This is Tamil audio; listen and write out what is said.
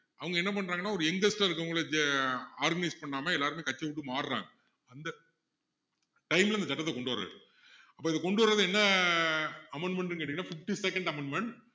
அவங்க என்ன பண்றங்கன்னா ஒரு youngest ஆ இருக்கவங்களை army ல use பண்ணாம எல்லாருமே கட்சியை விட்டு மாறுறாங்க அந்த time ல அந்த சட்டத்தை கொண்டு வர்றாரு கொண்டுவர்றது என்ன amendmend ன்னு கேட்டிங்கன்னா fifty-second amendment